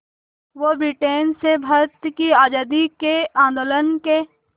वो ब्रिटेन से भारत की आज़ादी के आंदोलन के